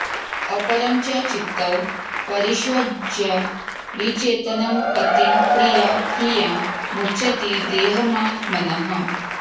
अपरं च चितौ परिष्वज्य विचेतनं पतिं प्रिया हि या मुञ्चति देहमात्मनः